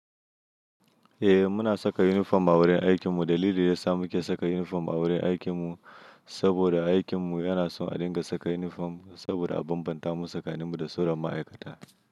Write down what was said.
Eh muna saka uniform a wurin aikinmu. Dalilin da yasa muke saka unifirm a wurin aikinmu saboda aikinmu yana son a dinga saka uniform saboda a bambanta mu tsakaninmu da sauran ma'aikata.